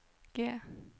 G